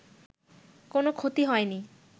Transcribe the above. কোনো ক্ষতি হয়নি